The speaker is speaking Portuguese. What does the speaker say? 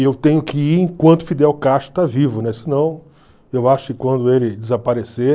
E eu tenho que ir enquanto Fidel Castro está vivo, né, senão eu acho que quando ele desaparecer...